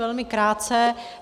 Velmi krátce.